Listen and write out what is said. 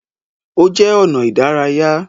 Ó jẹ́ ọnà ìdárayá.